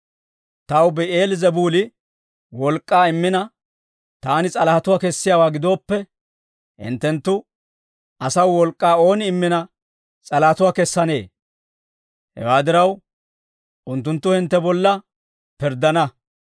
Taw Bi'eel-Zebuuli wolk'k'aa immina, taani s'alahatuwaa kessiyaawaa gidooppe, hinttenttu asaw wolk'k'aa ooni immina s'alahatuwaa kessanee? Hewaa diraw, unttunttu hintte bolla pirddana.